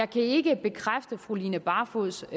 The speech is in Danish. kan ikke bekræfte fru line barfods